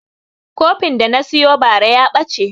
Kofin da na siyo bara ya ɓace